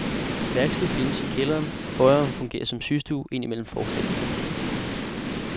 Værksted findes i kælderen, foyeren fungerer som systue ind imellem forestillingerne.